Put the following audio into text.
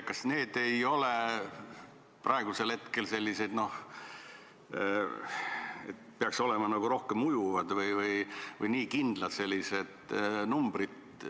Kas need ei ole praegu liiga kindlad numbrid, kui peaks olema rohkem nagu ujuvad või paindlikud?